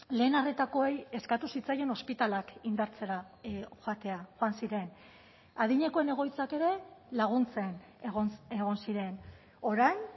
lehen arretakoei eskatu zitzaien ospitaleak indartzera joatea joan ziren adinekoen egoitzak ere laguntzen egon ziren orain